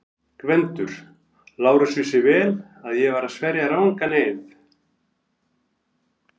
GVENDUR: Lárus vissi vel að ég var að sverja rangan eið.